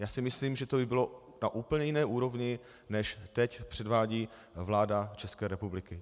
Já si myslím, že to by bylo na úplně jiné úrovni, než teď předvádí vláda České republiky.